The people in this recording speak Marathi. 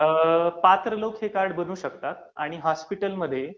पात्र लोक हे कार्ड बनवू शकतात आणि हॉस्पिटलमध्ये